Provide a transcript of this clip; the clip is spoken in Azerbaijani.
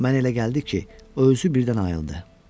Mənə elə gəldi ki, o özü birdən ayıldı.